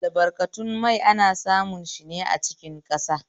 Albarkatun mai ana samun shine a cikin ƙasa